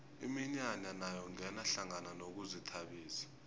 iminyanya nayo ingena hlangana nokuzithabisa